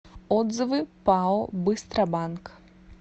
отзывы пао быстробанк